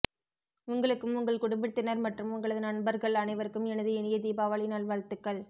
உங்களுக்கும் உங்கள் குடும்பத்தினர் மற்றும் உங்களது நண்பர்கள் அனைவருக்கும் எனது இனிய தீபாவளி நல்வாழ்த்துக்கள்